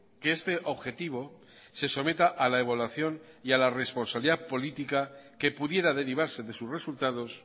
que este objetivo se someta a la evaluación y a la responsabilidad política que pudiera derivarse de sus resultados